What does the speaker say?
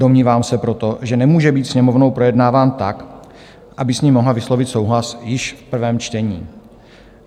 Domnívám se proto, že nemůže být Sněmovnou projednáván tak, aby s ním mohla vyslovit souhlas již v prvém čtení.